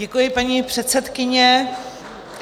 Děkuji, paní předsedkyně.